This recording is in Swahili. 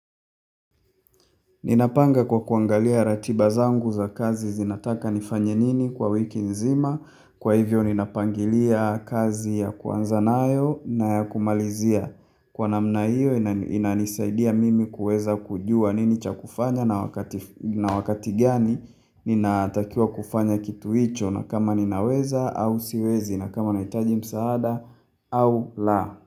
Ninapanga kwa kuangalia ratiba zangu za kazi zinataka nifanye nini kwa wiki nzima. Kwa hivyo ninapangilia kazi ya kuanzanayo na ya kumalizia. Kwa namna hiyo inanisaidia mimi kuweza kujua nini cha kufanya na wakati gani ninatakiwa kufanya kitu hicho na kama ninaweza au siwezi na kama naitaji msaada au la.